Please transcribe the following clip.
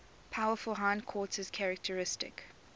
powerful hindquarters characteristic